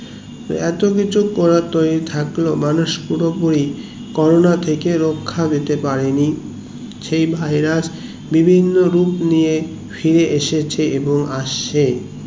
এতকিছু করা তৈরী থাকলো মানুষ পুরোপুরি করোনা থেকে রাখা পেতে পারেনি সেই virus বিভিন্ন রূপ নিয়ে ফায়ার এসেছে এবং আসছে